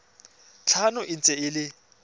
tlhano e ntse e le